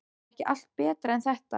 Var ekki allt betra en þetta?